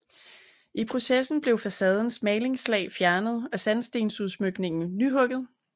I processen blev facadens malingslag fjernet og sandstensudsmykningen nyhugget